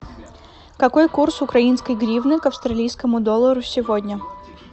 какой курс украинской гривны к австралийскому доллару сегодня